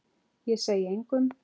Ég segi engum.